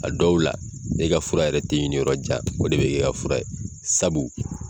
A dɔw la e ka fura yɛrɛ tɛ ɲini yɔrɔ jan o de bɛ kɛ e ka fura ye sabu